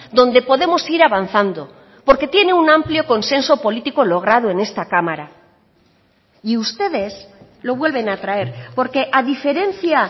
donde podemos ir avanzando porque tiene un amplio consenso político logrado en esta cámara y ustedes lo vuelven a traer porque a diferencia